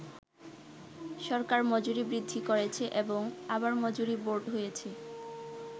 সরকার মজুরি বৃদ্ধি করেছে এবং আবার মজুরি বোর্ড হয়েছে।